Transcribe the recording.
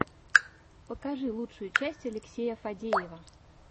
покажи лучшую часть алексея фадеева